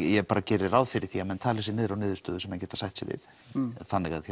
ég bara geri ráð fyrir því að menn tali sig niður á niðurstöðu sem menn geta sætt sig við þannig að